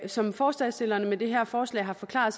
som forslagsstillerne med det her forslag har forklaret